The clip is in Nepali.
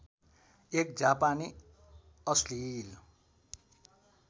एक जापानी अश्लिल